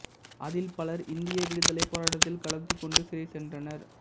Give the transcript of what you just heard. அதில் பலர் இந்திய விடுதலைப் போராட்டத்தில் கலந்து கொண்டு சிறை சென்றனர்